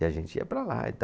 E a gente ia para lá e tal.